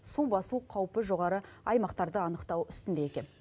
су басу қаупі жоғары аймақтарды анықтау үстінде екен